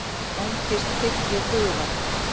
Angist fyllir hugann.